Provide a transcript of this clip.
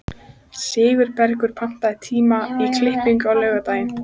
Sigurbergur, pantaðu tíma í klippingu á laugardaginn.